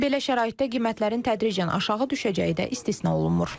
Belə şəraitdə qiymətlərin tədricən aşağı düşəcəyi də istisna olunmur.